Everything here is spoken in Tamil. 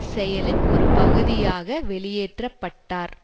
செயலின் ஒரு பகுதியாக வெளியேற்ற பட்டார்